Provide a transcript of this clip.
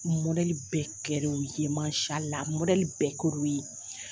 bɛɛ kɛra bɛɛ kɛr'o ye